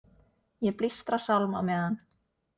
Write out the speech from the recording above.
Ég blístra sálm á meðan.